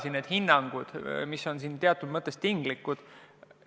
Need hinnangud on teatud mõttes tinglikud.